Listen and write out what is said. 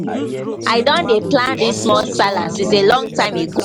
i don dey plan this small sallah since a long time ago